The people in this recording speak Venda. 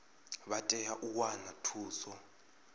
vha tea u wana thuso